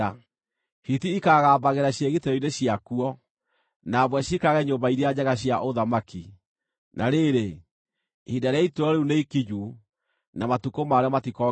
Hiti ikaagambagĩra ciĩgitĩro-inĩ ciakuo, na mbwe ciikarage nyũmba iria njega cia ũthamaki. Na rĩrĩ, ihinda rĩa ituĩro rĩu nĩikinyu, na matukũ marĩo matikongererwo.